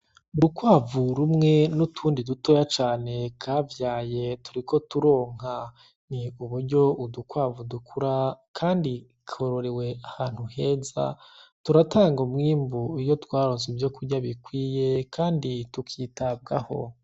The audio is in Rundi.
Urukwavu rumwe n'utundi dutoya cane kavyaye, turiko turonka. Ni uburyo udukwavu dukura kandi kororewe ahantu heza. Turatanga umwimbu iyo twaronse ivyo kurya bikwiye kandi tukitabwaho.